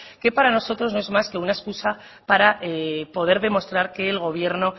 que para nosotros no es más que una escusa para poder demostrar que el gobierno